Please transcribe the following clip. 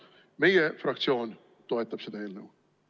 Meie fraktsioon toetab seda eelnõu.